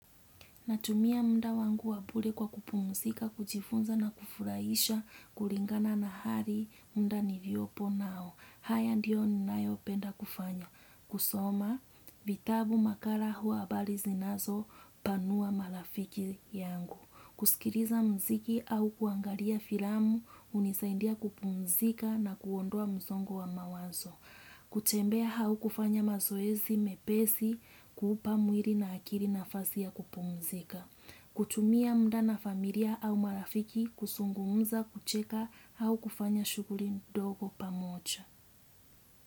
Natumia muda wangu wa bure kwa kupumzika, kujifunza na kufurahisha, kulingana na hali muda niliyopo nao. Haya ndiyo ninayopenda kufanya. Kusoma, vitabu makala huwa habari zinazo, panua marafiki yangu. Kusikiliza mziki au kuangalia filamu, hunisaindia kupumzika na kuondoa msongo wa mawazo. Kutembea au kufanya mazoezi mepesi kuupa mwili na akili nafasi ya kupumzika. Kutumia muda na familia au marafiki kuzungumza kucheka au kufanya shughuli dogo pamoja.